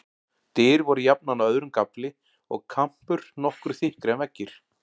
Dyr voru jafnan á öðrum gafli, og kampur nokkru þykkri en veggir.